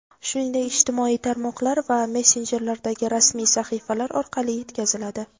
shuningdek ijtimoiy tarmoqlar va messenjerlardagi rasmiy sahifalar orqali yetkaziladi.